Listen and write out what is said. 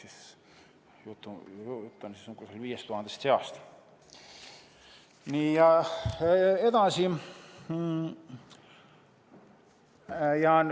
Siis jutt on kusagil 5000 seast.